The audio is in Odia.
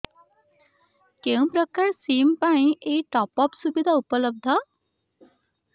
କେଉଁ ପ୍ରକାର ସିମ୍ ପାଇଁ ଏଇ ଟପ୍ଅପ୍ ସୁବିଧା ଉପଲବ୍ଧ